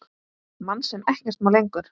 Mann sem ekkert má lengur.